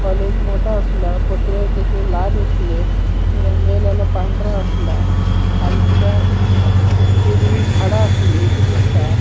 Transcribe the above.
कॉलेज मोटों अस्लो थी लाल आसली पांढरा आसला खालचान हिरवी झाड़ा आसली ती दिसता.